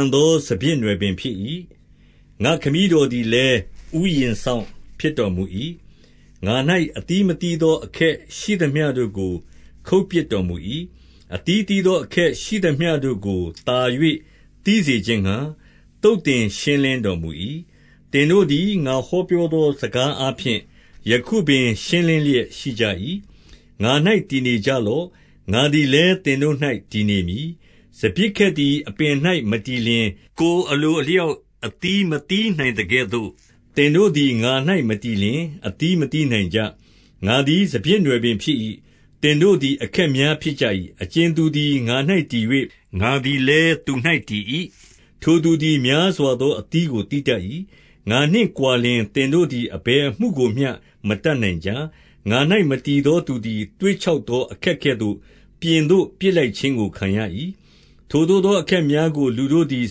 န်သောစပျစ်နွယ်ပင်ဖြစ်၏။ ငါ့ခမည်းတော်သည်လည်း ဥယျာဉ်စောင့်ဖြစ်တော်မူ၏။ ငါ၌အသီးမသီးသောအခက်ရှိသမျှတို့ကို ခုတ်ပစ်တော်မူ၏။ အသီးသီးသောအခက်ရှိသမျှတို့ကို သာ၍ သီးစေခြင်းငှါ သုတ်သင်ရှင်းလင်းတော်မူ၏။ သင်တို့သည် ငါဟောပြောသောစကားအားဖြင့် ယခုပင်ရှင်းလင်းလျက်ရှိကြ၏။ ငါ၌တည်နေကြလော့။ ငါသည်လည်း သင်တို့၌တည်နေမည်။ စပျစ်ခက်သည် အပင်၌မတည်လျှင်၊ ကိုယ်အလိုအလျောက် အသီးမသီးနိုင်သကဲ့သို့၊ သင်တို့သည် ငါ၌မတည်လျှင် အသီးမသီးနိုင်ကြ။ ငါသည် စပျစ်နွယ်ပင်ဖြစ်၏။ သင်တို့သည်အခက်များဖြစ်ကြ၏။ အကြင်သူသည် ငါ၌တည်၍ ငါသည် လည်းသူ့၌တည်၏၊ ထိုသူသည် များစွာသောအသီးကိုသီးတတ်၏။ ငါနှင့်ကွာလျှင် သင်တို့သည် အဘယ်အမှု ကိုမျှ မတတ်နိုင်ကြ။ ငါ၌ မတည်သောသူသည် သွေ့ခြောက်သောအခက်ကဲ့သို့ ပြင်သို့ပစ်လိုက်ခြင်းကိုခံရ၏။ ထိုသို့သော အခက်များကို လူတို့သည်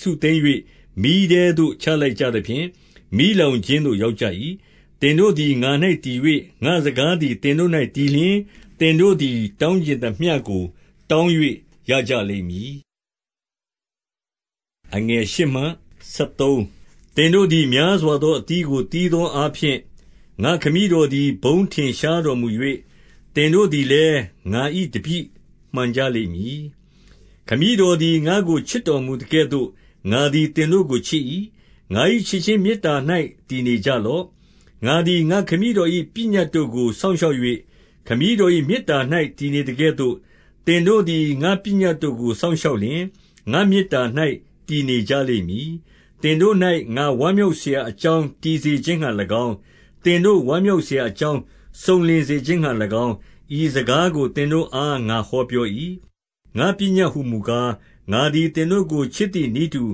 စုသိမ်း၍ မီးထဲသို့ ချလိုက်ကြသဖြင့် မီးလောင်ခြင်းသို့ ရောက်ကြ၏။ သင်တို့သည် ငါ၌တည်၍ ငါ့စကားသည်သင်တို့၌တည်လျှင်၊ သင်တို့သည်တောင်းချင်သမျှကို တောင်း ၍ရကြလိမ့်မည်။ သင်တို့သည် များစွာသောအသီးကိုသီးသောအားဖြင့်၊ ငါ့ခမည်းတော်သည် ဘုန်းထင်ရှားတော်မူ၍၊ သင်တို့သည်လည်း ငါ၏တပည့်မှန်ကြလိမ့်မည်။ ခမည်းတော်သည် ငါ့ကိုချစ်တော်မူသကဲ့သို့ ငါသည်သင်တို့ကိုချစ်၏။ ငါ၏ချစ်ခြင်းမေတ္တာ၌ တည်နေ ကြလော့။ ငါသည် ငါ့ခမည်းတော်၏ပညတ်တို့ကို စောင့်ရှောက်၍ ခမည်းတော်၏မေတ္တာ၌ တည်နေသကဲ့သို့၊ သင်တို့သည် ငါ့ပညတ်တို့ကို စောင့်ရှောက်လျှင်၊ ငါ့မေတ္တာ၌ တည်နေကြလိမ့်မည်။ သင်တို့၌ ငါဝမ်းမြောက်စရာအကြောင်း တည်စေခြင်းငှါ၎င်း၊ သင်တို့ ဝမ်းမြောက်စရာအကြောင်း စုံလင်စေခြင်းငှါ၎င်း၊ ဤစကားကို သင်တို့အားငါဟောပြော၏။ ငါ့ပညတ်ဟူမူကား၊ ငါသည် သင်တို့ကိုချစ်သည်နည်းတူ၊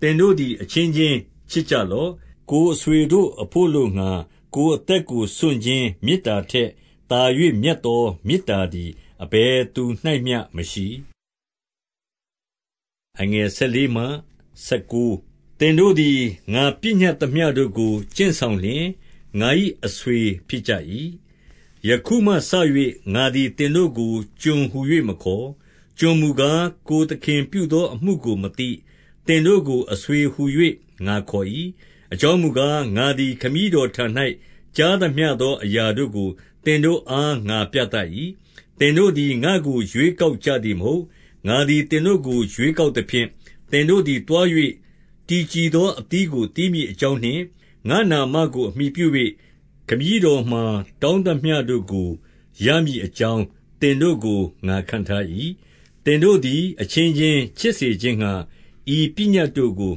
သင်တို့သည် အချင်းချင်းချစ်ကြလော့။ ကိုယ်အဆွေတို့အဘို့အလိုငှါ ကိုယ်အသက်ကိုစွန့်ခြင်းမေတ္တာထက်သာ၍ မြတ်သောမေတ္တာသည် အဘယ်သူ၌မျှမရှိ။ သင်တို့သည် ငါပညတ်သမျှတို့ကို ကျင့်ဆောင်လျှင် ငါ၏အဆွေဖြစ်ကြ၏။ ယခုမှစ၍ ငါသည်သင်တို့ကို ကျွန်ဟူ၍မခေါ်။ ကျွန်မူကား၊ ကိုယ်သခင်ပြုသောအမှုကိုမသိ။ သင် တို့ကို အဆွေဟူ၍ငါခေါ်၏။ အကြောင်းမူကား၊ ငါသည် ခမည်းတော်ထံ၌ ကြားသမျှသောအရာတို့ကို သင်တို့ အား ငါပြသ၏။ သင်တို့သည် ငါ့ကိုရွေးကောက်ကြသည်မဟုတ်။ ငါသည် သင်တို့ကို ရွေးကောက်သဖြင့်၊ သင်တို့သည် သွား၍ တည်ကြည်သောအသီးကိုသီးမည်အကြောင်းနှင့် ငါ့နာမကိုအမှီပြု၍ ခမည်းတော်မှာတောင်းသမျှတို့ကို ရမည်အကြောင်း သင်တို့ကို ငါခန့်ထား၏။ သင်တို့သည် အချင်းချင်းချစ်စေခြင်းငှါ ဤပညတ်တို့ကို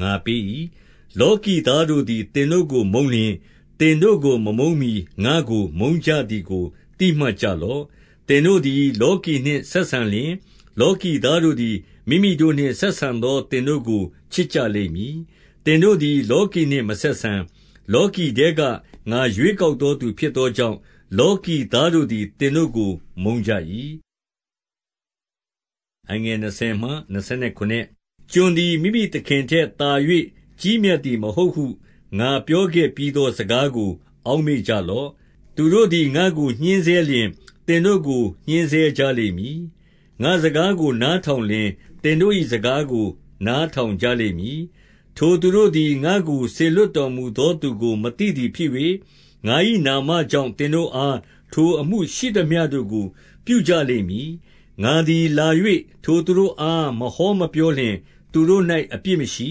ငါပေး၏။ လောကီသားတို့သည် သင်တို့ကိုမုန်းလျှင်၊ သင်တို့ကို မမုန်းမှီ ငါ့ကိုမုန်းကြသည်ကို သိမှတ်ကြလော့။ သင်တို့သည် လောကီနှင့်ဆက်ဆံလျှင်၊ လောကီသားတို့သည် မိမိတို့နှင့်ဆက်ဆံသော သင်တို့ကို ချစ် ကြလိမ့်မည်။ သင်တို့သည် လောကီနှင့်မဆက်ဆံ၊ လောကီထဲက ငါရွေးကောက်သောသူဖြစ်သောကြောင့်၊ လောကီသားတို့သည် သင်တို့ကိုမုန်းကြ၏။ ကျွန်သည် မိမိသခင်ထက်သာ၍ ကြီးမြတ်သည်မဟုတ်ဟု ငါပြောခဲ့ပြီးသောစကားကို အောက်မေ့ကြ လော့။ သူတို့သည်ငါ့ကိုညှဉ်းဆဲလျှင် သင်တို့ကို ညှဉ်းဆဲကြလိမ့်မည်။ ငါ့စကားကိုနားထောင်လျှင် သင်တို့၏ စကားကို နားထောင်ကြလိမ့်မည်။ ထိုသူတို့သည် ငါ့ကိုစေလွှတ်တော်မူသောသူကို မသိသည်ဖြစ်၍၊ ငါ၏နာမကြောင့် သင်တို့အား ထို အမှုရှိသမျှတို့ကို ပြုကြလိမ့်မည်။ ငါသည် လာ၍ထိုသူတို့အား မဟောမပြောလျှင် သူတို့၌အပြစ်မရှိ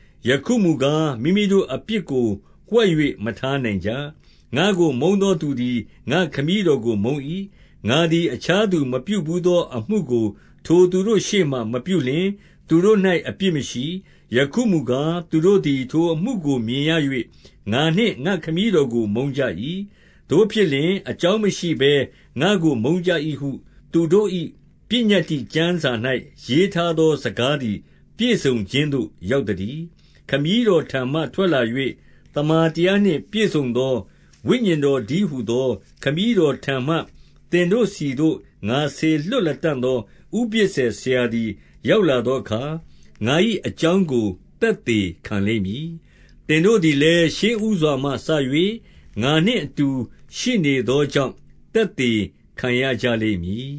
။ ယခုမူကား၊ မိမိတို့အပြစ်ကို ဝှက် ၍ မထားနိုင်ကြ။ ငါ့ကို မုန်းသောသူသည် ငါ့ခမည်းတော်ကိုမုန်း၏။ ငါသည် အခြားသူမပြုဘူးသောအမှုကို ထိုသူတို့ရှေ့မှာမပြုလျှင် သူတို့၌အပြစ်မရှိ။ ယခုမူကား၊ သူတို့သည် ထိုအမှုကိုမြင်ရ၍ ငါနှင့်ငါ့ခမည်းတော်ကိုမုန်းကြ၏။ သို့ဖြစ်လျှင်၊ အကြောင်းမရှိဘဲငါ့ကိုမုန်းကြ၏ဟု သူတို့၏ပညတ္တိကျမ်းစာ၌ ရေးထားသောစကားသည် ပြည့်စုံခြင်းသို့ ရောက်သတည်း။ ခမည်းတော်ထံမှထွက်လာ၍ သမ္မာတရားနှင့်ပြည့်စုံသောဝိညာဉ်တော်တည်းဟူသော ခမည်းတော်ထံမှ သင်တို့ဆီသို့ ငါစေလွှတ်လတံ့သော ဥပဇ္ဈာယ်ဆရာသည်ရောက်လာသောအခါ၊ ငါ၏အကြောင်းကို သက်သေခံ လိမ့်မည်။ သင်တို့သည်လည်း ရှေးဦးစွာမှစ၍ ငါနှင့်အတူရှိနေသောကြောင့် သက်သေခံရကြလိမ့်မည်